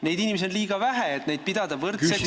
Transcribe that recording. Neid inimesi on liiga vähe, et pidada neid võrdseks ...